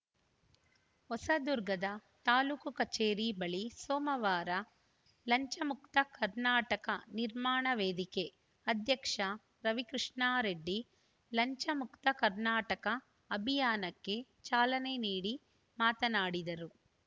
ಹೊಸದುರ್ಗದ ತಾಲೂಕು ಕಚೇರಿ ಬಳಿ ಸೋಮವಾರ ಲಂಚಮುಕ್ತ ಕರ್ನಾಟಕ ನಿರ್ಮಾಣ ವೇದಿಕೆ ಅಧ್ಯಕ್ಷ ರವಿಕೃಷ್ಣಾ ರೆಡ್ಡಿ ಲಂಚಮುಕ್ತ ಕರ್ನಾಟಕ ಅಭಿಯಾನಕ್ಕೆ ಚಾಲನೆ ನೀಡಿ ಮಾತನಾಡಿದರು